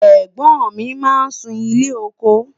ègbón mí má n sún ilé ọkọ